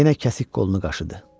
Yenə kəsik qolunu qaşıdı.